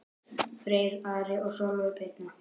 Freyr, Ari og Sólveig Birna.